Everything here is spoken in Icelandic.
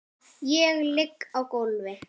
Ég ligg á gólfi.